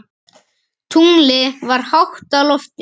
Tunglið var hátt á lofti.